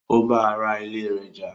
Ó bá ara ilé rẹ̀ jà